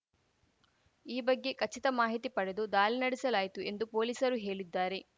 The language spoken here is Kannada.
ಈ ಬಗ್ಗೆ ಖಚಿತ ಮಾಹಿತಿ ಪಡೆದು ದಾಲಿ ನಡೆಸಲಾಯಿತು ಎಂದು ಪೊಲೀಸರು ಹೇಳಿದ್ದಾರೆ